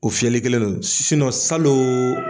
O fiyɛli kelen don salon